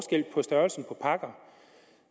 størrelsen på pakker